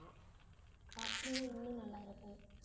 அப்டினா இன்னும் நல்லா இருக்கும்